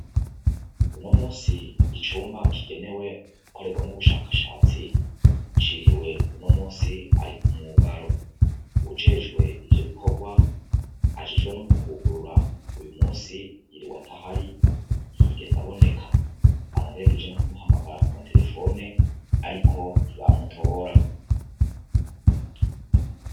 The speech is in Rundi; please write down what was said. Uno musi icumba kigenewe gukorerwamwo ubushakashatsi, ciriwe uno musi ari umwugaro. Uwujejwe ivyo bikorwa, ajejwe no kuhugurura, uyu musi yiriwe atahari, ntiyigeze aboneka. Banagerageje no kumuhamagara ku materefone, ariko ntibamutora.